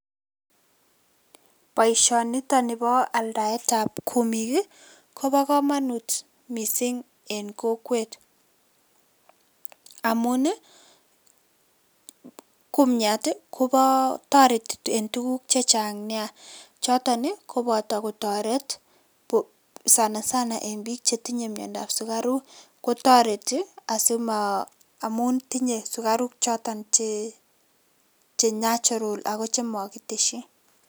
Boisionitok ni bo aldaetab kumiik kobo kamanut mising eng kokwet amun kumiat kotoreti eng tuguuk chechang nia choto koboto kotoret sana sana eng biik che tinye miandoab sukaruk, kotareti amun tinyei sukaruk choto che natural ako chemakiteshi.